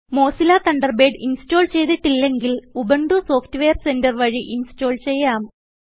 Mozilla Thunderbird install ചെയ്തിട്ടില്ലെങ്കിൽ Ubuntu software centre വഴി install ചെയ്യാം